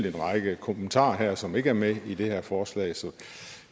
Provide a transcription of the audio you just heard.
en række kommentarer som ikke er med i det her forslag